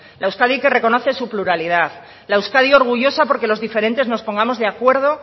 la euskadi que reconoce su pluralidad la euskadi orgullosa porque los diferentes nos pongamos de acuerdo